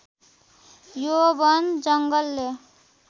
यो वन जङ्गलले